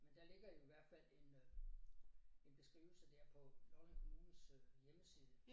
Men det ligger i hvert fald en øh en beskrivelse der på Lolland Kommunes øh hjemmeside